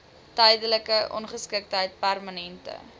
tydelike ongeskiktheid permanente